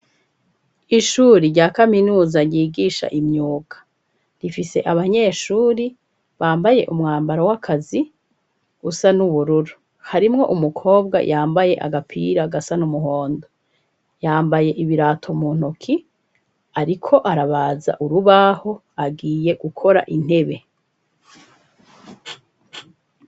Ishure rya kaminuza ryigisha imyuga, rifise abanyeshure bambaye umwambaro w'akazi usa n'ubururu. Harimwo umukobwa yambaye agapira gasa n'umuhondo ,yambaye ibirato mu ntoke ariko arabaza urubaho agiye gukora intebe.